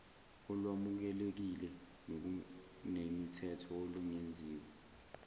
olwamukelekile nokunemithetho olungenziwa